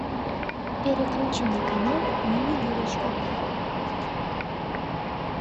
переключи на канал ювелирочка